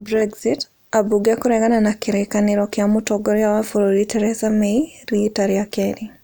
Brexit: Ambunge kũregana na kĩrĩkanĩro kĩa mũtongoria wa bũrũri Theresa May riita rĩa kerĩ